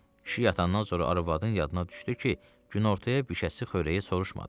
Kişi yatandan sonra arvadın yadına düşdü ki, günortaya bişəcəsi xörəyi soruşmadı.